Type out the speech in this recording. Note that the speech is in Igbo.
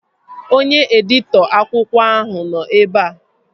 Onye editọ akwụkwọ ahụ nọ ebea